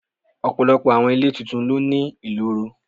Ọ̀pọ̀lọpọ̀ àwọn ilé tuntun ló ní ìloro.